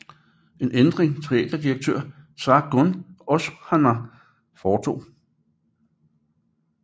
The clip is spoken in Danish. En ændring teaterdirektør Sargun Oshana foretog